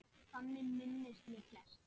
Þannig minnist ég Gests.